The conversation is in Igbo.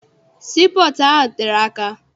Sii pọọtụ ahụ tere aka.